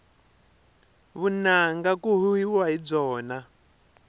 vunanga ku huhwiwa hi byona